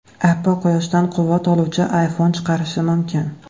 Apple quyoshdan quvvat oluvchi iPhone chiqarishi mumkin.